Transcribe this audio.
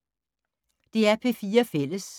DR P4 Fælles